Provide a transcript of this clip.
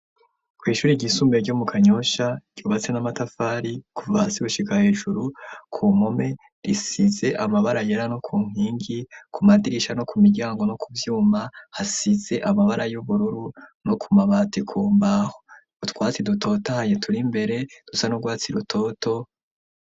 Kw'ishure ry'isumbuye ryo mu Kanyosha ryubatse n'amatafari kuva hasi gushika hejuru ku mpome risize amabara yera no ku nkingi ku madirisha no ku miryango no ku vyuma hasize amabara y'ubururu no ku mabati ku mbaho. Utwatsi dutotahaye turi imbere dusa n'urwatsi rutoto.